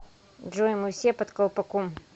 джой мы все под колпаком